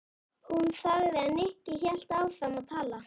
Hún þagði en Nikki hélt áfram að tala.